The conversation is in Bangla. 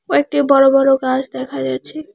কয়েকটি বড় বড় গাস দেখা যাচ্ছে।